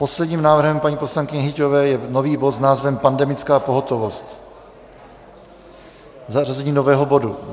Posledním návrhem paní poslankyně Hyťhové je nový bod s názvem Pandemická pohotovost; zařazení nového bodu.